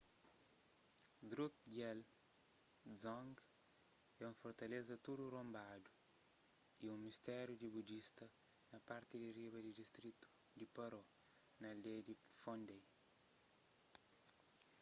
drukgyal dzong é un fortaleza tudu ronbadu y un mustéru di budista na parti di riba di distritu di paro na aldeia di phondey